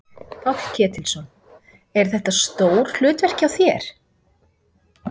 Páll Ketilsson: Er þetta stór hlutverk hjá þér?